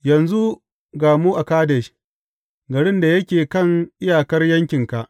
Yanzu ga mu a Kadesh, garin da yake kan iyakar yankinka.